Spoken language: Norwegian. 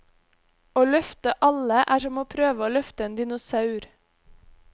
Å løfte alle er som å prøve å løfte en dinosaur.